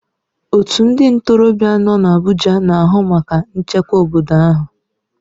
Otu ndị ntorobịa nọ n'Abuja na-ahụ maka nchekwa obodo ahụ.